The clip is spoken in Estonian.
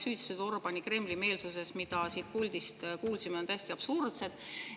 Süüdistused Orbáni Kremli-meelsuses, mida siit puldist kuulsime, on täiesti absurdsed.